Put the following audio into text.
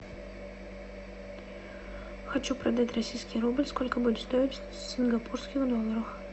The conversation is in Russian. хочу продать российский рубль сколько будет стоить в сингапурских долларах